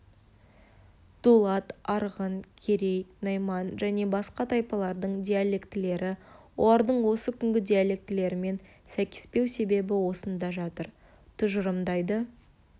дулат арғын керей-найман және басқа тайпалардың диалектілері олардың осы күнгі диалектілерімен сәйкеспеу себебі осында жатыр тұжырымдайды